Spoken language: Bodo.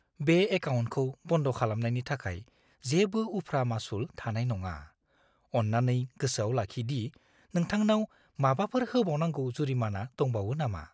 बे एकाउन्टखौ बन्द खालामनायनि थाखाय जेबो उफ्रा मासुल थानाय नङा। अन्नानै गोसोआव लाखि दि नोंथांनाव माबाफोर होबावनांगौ जुरिमाना दंबावो नामा!